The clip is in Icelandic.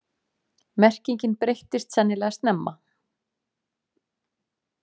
Merkingin breyttist sennilega snemma.